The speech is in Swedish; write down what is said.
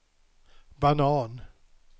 banan